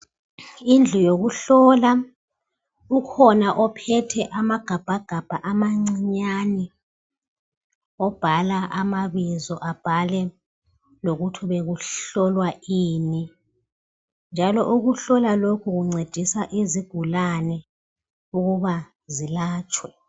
Indlu yokuhlolwa ukhona ophethe amagabhagabha amancinyane obhala amabizo abhale lokuthi bekuhlolwa ini njalo okuhlolwa lokhu kuncedisa izigulane ukuba zilatshwe.